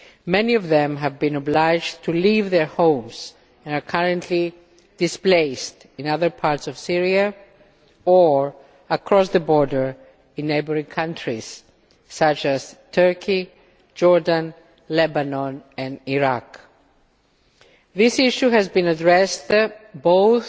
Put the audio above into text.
Many of them have been obliged to leave their homes and are currently displaced in other parts of Syria or across the border in neighbouring countries such as Turkey, Jordan, Lebanon and Iraq. This issue has been addressed both